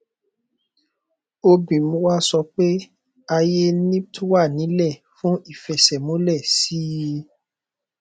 obgyn wa sọ pé ààyè wà ńílẹ fún ìfẹsẹmúlẹ sí sí i